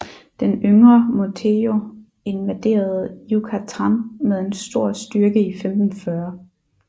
Den yngre Montejo invaderede Yucatán med en stor styrke i 1540